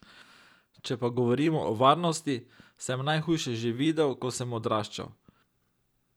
Če pa govorimo o varnosti, sem najhujše že videl, ko sem odraščal.